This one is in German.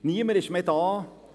Niemand ist mehr da.